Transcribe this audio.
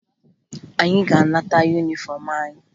Anyị ga-aga nata yunifọmụ anyị